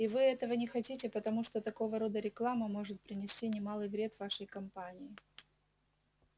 и вы этого не хотите потому что такого рода реклама может принести немалый вред вашей компании